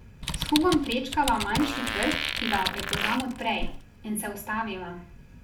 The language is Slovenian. S Hugom prečkava manjši trg, ki ga prepoznam od prej, in se ustaviva.